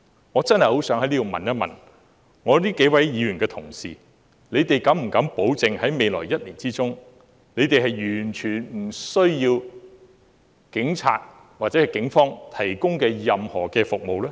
我真的很想問這幾位議員，敢不敢保證在未來1年完全不需要警方提供的任何服務呢？